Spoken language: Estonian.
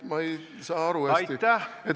Ma ei saa hästi aru.